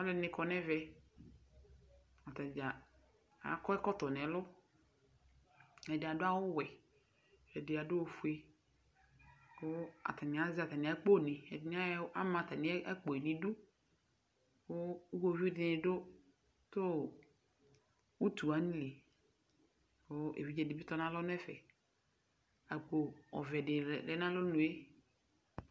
Aluɛdini kɔ nu ɛvɛ atadza akɔ ɛkɔtɔ nu ɛlu ɛdi adu awu ɔʋɛ ɛdi adu ofue ku atani azɛ atami akponi ama atamiakpo yɛ bidu ku iɣovidini du tu utu wani li ku evidze dibi tɔnalɔ nu ɛfɛ akpo ɔvɛ di lɛ nu alɔnue